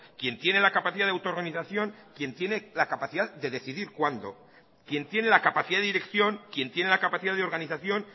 quien tiene la capacidad de autoorganización quien tiene la capacidad de decidir cuándo quien tiene la capacidad de dirección quien tiene la capacidad de organización